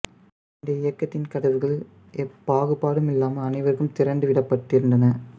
இந்த இயக்கத்தின் கதவுகள் எப்பாகுபாடும் இல்லாமல் அனைவருக்கும் திறந்து விடப்பட்டிருந்தன